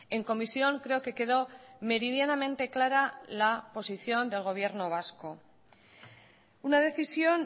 en comisión creo que quedó meridianamente clara la posición del gobierno vasco una decisión